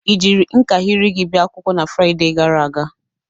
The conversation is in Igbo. Ị jiri nkahịrị gị bia akwụkwọ na Frịde gara aga?